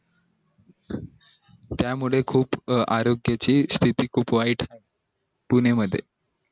त्या मुले आरोग्या ची खूप वाईट पुणे मध्ये